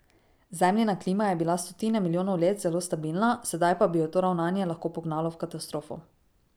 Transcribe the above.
Zemljina klima je bila stotine milijonov let zelo stabilna, sedaj pa bi jo to ravnanje lahko pognalo v katastrofo.